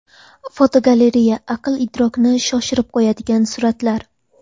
Fotogalereya: Aql-idrokni shoshirib qo‘yadigan suratlar.